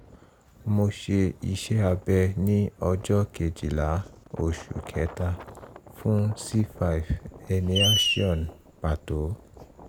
mo ṣe iṣẹ́-abẹ ní ọjọ́ kejìlá oṣù kẹ́ta fún c five herniation pàtó